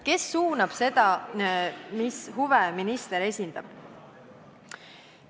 Kes suunab seda, mis huve minister esindab?